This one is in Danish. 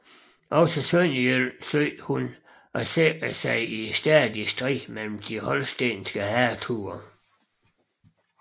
Også Sønderjylland søgte hun at sikre sig i stadig strid med de holstenske hertuger